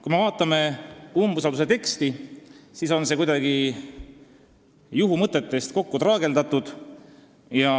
Kui me vaatame umbusaldusavalduse teksti, siis näeme, et see on kuidagi juhumõtetest kokku traageldatud.